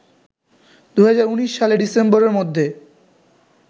২০১৯ সালের ডিসেম্বরের মধ্যে